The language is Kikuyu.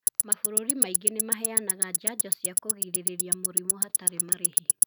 Mabũrũri maingĩ nĩ maheanaga njanjo cia kũgirĩrĩria mũrimũ hatarĩ marĩhi.